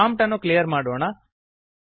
prompt ಅನ್ನು clear ಮಾಡೋಣ